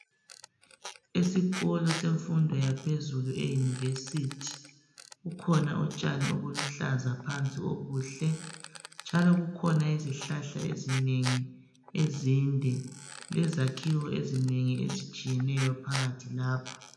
Esikolo semfundo yaphezulu eYunivesi kukhona utshani obuluhlaza phansi obuhle njalo kukhona izihlahla ezinengi ezinde lezakhiwo ezinengi ezitshiyeneyo phakathi lapha.